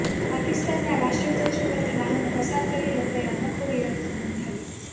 પાકિસ્તાનના રાષ્ટ્રધ્વજ ઉપરથી વાહનો પસાર કરી લોકોએ અનોખો વિરોધ નોંધાવ્યો